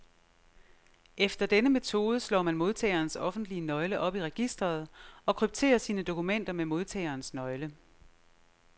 Efter denne metode slår man modtagerens offentlige nøgle op i registret, og krypterer sine dokumenter med modtagerens nøgle.